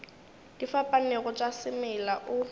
di fapanego tša semela o